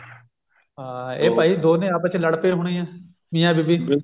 ਹਾਂ ਇਹ ਭਾਈ ਦੋਨੇ ਆਪਸ ਚ ਲੜ ਪਏ ਹੋਣੇ ਆ ਮਿਆਂ ਬੀਵੀ